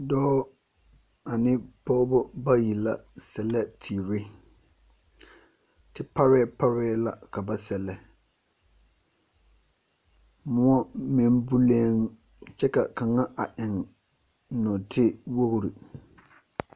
Dͻͻ ane pͻgebͻ bayi la sԑlԑ teere. Te parԑԑ parԑԑ la ka ba sԑllԑ. Mõͻ meŋ buleŋ kyԑ ka kaŋa a eŋ nͻͻte wogiri.